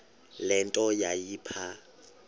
le nto yayipha